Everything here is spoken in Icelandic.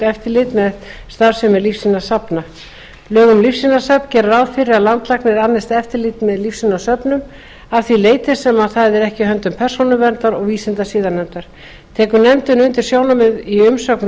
eftirlit með starfsemi lífsýnasafna lög um lífsýnasöfn gera ráð fyrir að landlæknir annist eftirlit með lífsýnasöfnum að því leyti sem það er ekki í höndum persónuverndar og vísindasiðanefndar tekur nefndin undir sjónarmið í umsögn